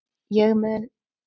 Ég mun